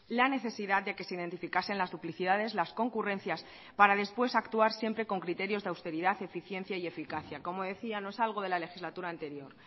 la necesidad de que se identificasen las duplicidades las concurrencias para después actuar siempre con criterios de austeridad eficiencia y eficacia como decía no es algo de la legislatura anterior